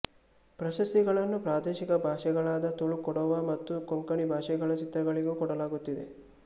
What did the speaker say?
ಪ್ರಶಸ್ತಿಗಳನ್ನು ಪ್ರಾದೇಶಿಕ ಭಾಷೆಗಳಾದ ತುಳು ಕೊಡವ ಮತ್ತು ಕೊಂಕಣಿ ಭಾಷೆಗಳ ಚಿತ್ರಗಳಿಗೂ ಕೊಡಲಾಗುತ್ತಿದೆ